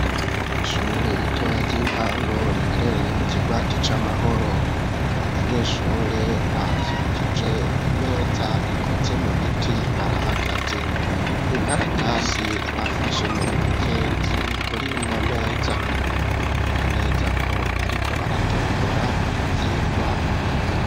kwishure iritoya ry'intango riherereye mu kigwati c'amahoro, abanyeshure bakikije imeza ikoze mu biti barahagaze. binkaratasi bafashe mu ntoke ziri kurino meza biboneka neza ko bariko baratombora ivyigwa biga.